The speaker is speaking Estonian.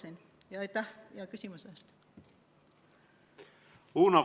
Uno Kaskpeit, palun!